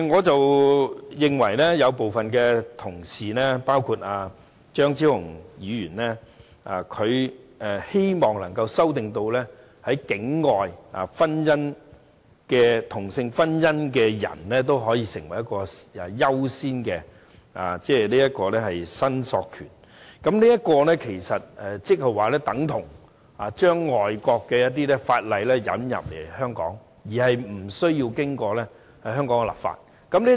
對於部分同事包括張超雄議員提出的修正案，旨在讓在境外註冊同性婚姻的人士也可擁有優先申索權，我認為這其實等同把外國法例引入香港而無須經過香港立法。